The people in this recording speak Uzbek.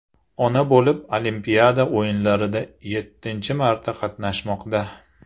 ona bo‘lib, Olimpiada o‘yinlarida yettinchi marta qatnashmoqda.